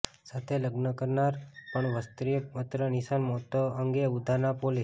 સાથે લગ્ન કરનાર અને ત્રણ વર્ષીય પુત્રીની માતા નિશાના મોત અંગે ઉધના પોલીસે